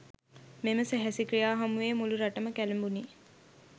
මෙම සැහැසි ක්‍රියා හමුවේ මුළු රටම කැළඹුණි.